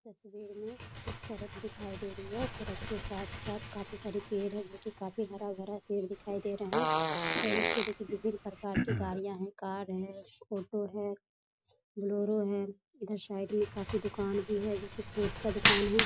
तस्वीर में एक सड़क दिखाई दे रही है सड़क के साथ-साथ काफी सारे पेड़ हैं जो की काफी हरा-भरा पेड़ दिखाई दे रहे हैं और उसके देखिये विभिन्न प्रकार की गाड़ियां हैं कार है फोटो है बोलेरो है इधर साइड में काफी दुकान भी है जैसे फ्रूट का दुकान है।